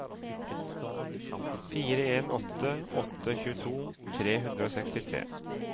fire en åtte åtte tjueto tre hundre og sekstitre